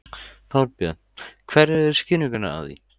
Þorbjörn: Hverjar eru skýringarnar á því?